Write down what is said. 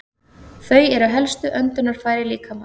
Þau eru helstu öndunarfæri líkamans.